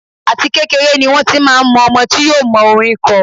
Àti kékeré ni wón ti máa mọ ọmọ tí yóò mọ orín kọ.